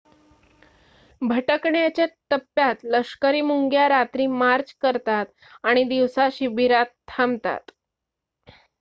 भटकण्याच्या टप्प्यात लष्करी मुंग्या रात्री मार्च करतात आणि दिवसा शिबिरात थांबतात